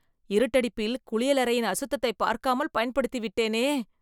இருட்டடிப்பில், குளியலறையின் அசுத்ததைப் பார்க்காமல் பயன்படுத்திவிட்டேனே